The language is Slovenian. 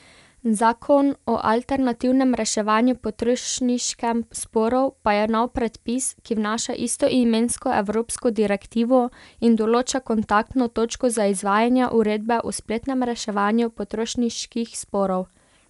Zakon o alternativnem reševanju potrošniškem sporov pa je nov predpis, ki vnaša istoimensko evropsko direktivo in določa kontaktno točko za izvajanje uredbe o spletnem reševanju potrošniških sporov.